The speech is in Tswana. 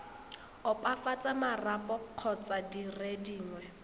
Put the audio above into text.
opafatsa marapo kgotsa dire dingwe